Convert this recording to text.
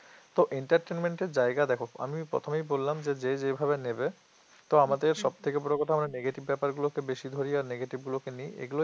তো entertainment এর জায়গা দেখো আমি প্রথমেই বললাম যে যেভাবে নেবে তো আমাদের সব থেকে বড় কথা আমরা negative ব্যাপারগুলোকে বেশি ধরি আর negative গুলোকে নিই এগুলোই